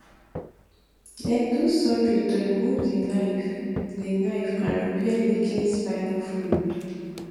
dem do surgery to remove di knife di knife and repair leaking spinal fluid